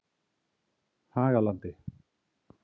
Hagalandi